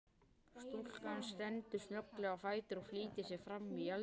Stúlkan stendur snögglega á fætur og flýtir sér framí eldhús.